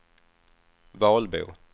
Valbo